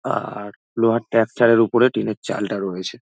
আর- লোহার ট্যাঁকটার উপরে টিনের চালটা রয়েছে।